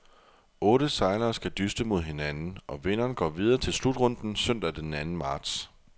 Otte sejlere skal dyste mod hinanden, og vinderen går videre til slutrunden søndag den anden marts.